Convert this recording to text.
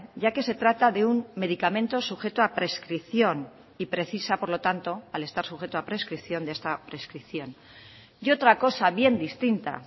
ya que se trata de un medicamento sujeto a prescripción y precisa por lo tanto al estar sujeto a prescripción de esta prescripción y otra cosa bien distinta